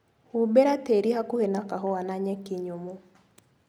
Humbĩra tĩri hakuhĩ na kahũa na nyeki nyũmu.